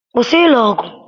kwụsị elu ọgụ!